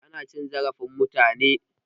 Ana cin zarafin mutane.